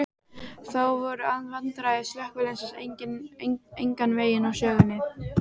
Þó voru vandræði slökkviliðsins engan veginn úr sögunni.